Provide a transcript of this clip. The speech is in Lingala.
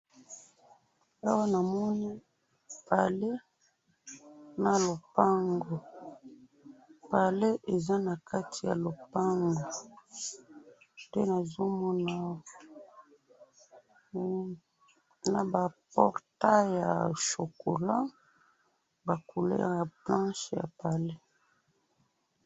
awa namoni pale na lopango pale eza nakati ya lopango nde nazo mona awa naba portail ya chocolat ba couleur ya blanche ya pale.